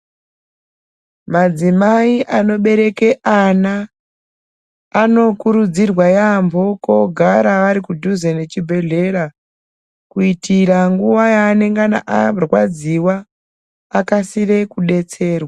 Madzimai anobereke ana, anokurudzirwa yambo kogara ari kudhuze nechibhedhlera, kuyitira nguwa yaanengana arwadziwa ,akasire kudetserwa.